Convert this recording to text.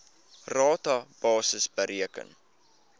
rata basis bereken